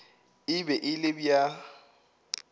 e be e le bja